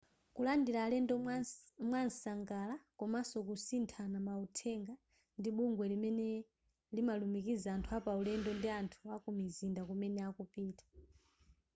kulandila alendo mwamsangala komanso kusithana mauthenga ndi bungwe limene limalumikiza anthu apaulendo ndi anthu akumizinda kumene akupita